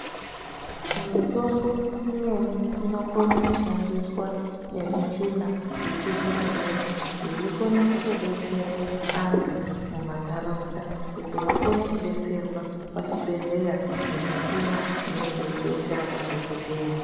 Mitombo imweni inokone ku shandiswa ne michina yechi zvino zvino yei kone kuto detsere antu muma ndaraunda kuti vakone ku detserwa pa chibhedhleya nge michina inenge yei detsera madhokodheya.